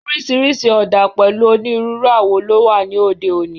Oríṣiríṣi ọ̀dà pẹ̀lú onírúurú awo ló wà ní òde òní